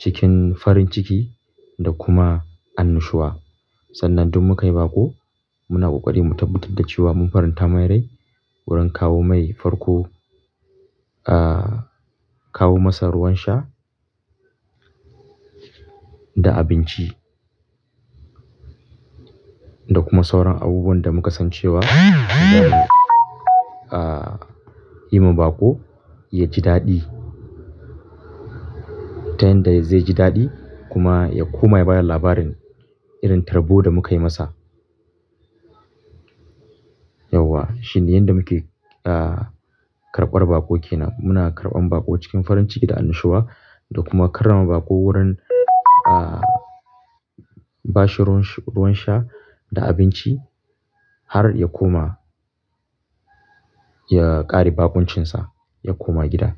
cikin farin ciki da kuma annushuwa. Sannan duk muka yi baƙo muna ƙoƙari mu tabbatar da cewa mun faranta mai rai wurin kawo mai farko, ah, kawo masa ruwan sha da abinci. Da kuma sauran abubuwan da muka san cewa ah, yi ma baƙo yaji daɗi. Ta yanda zai ji daɗi kuma ya koma ya bada labarin irin tarbo da muka yi masa. Yauwa shine yanda muke, ah, karɓar baƙo ke nan. Muna karɓan baƙo cikin farin ciki da annushuwa da kuma karrama baƙo wurin, ah, ba shi ruwan sha da abinci har ya koma, ya ƙare baƙuncinsa ya koma gida.